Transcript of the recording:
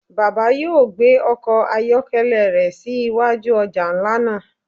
Baba yóò gbe ọkọ ayọkẹlẹ rẹ si iwaju ọja nla naa